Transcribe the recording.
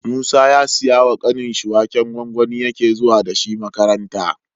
Musa ya siya wa kanin shi waken gwangwani yake zuwa dashi makaranta